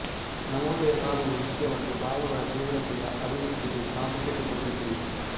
ನವೋದಯ ಕಾವ್ಯವು ಮುಖ್ಯವಾಗಿ ಭಾವಗಳ ತೀವ್ರತೆಯ ಅಭಿವ್ಯಕಿಗೆ ಪ್ರಾಮುಖ್ಯತೆ ಕೊಟ್ಟಿತು